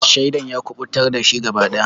Shaidan ya kuɓutar dashi gaba daya.